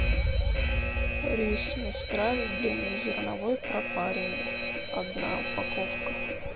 рис мистраль длиннозерновой пропаренный одна упаковка